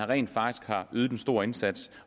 rent faktisk har ydet en stor indsats